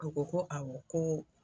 Ko ko ko awɔ ko